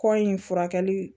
Kɔ in furakɛli